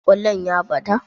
kwallon ya ɓata?